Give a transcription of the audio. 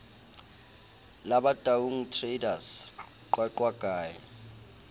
la bataung traders qwaqwa ke